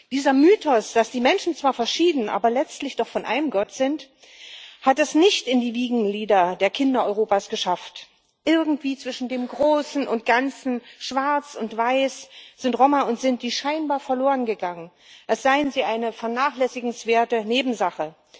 Dieser Mythos, dass die Menschen zwar verschieden, aber letztlich doch von einem Gott sind, hat es nicht in die Wiegenlieder der Kinder Europas geschafft. Irgendwie zwischen dem Großen und Ganzen, Schwarz und Weiß sind Roma und Sinti scheinbar verloren gegangen, als seien sie eine vernachlässigenswerte Nebensache.